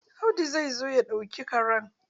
Audu zai zo ya ɗauki karen.